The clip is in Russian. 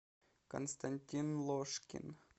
константин ложкин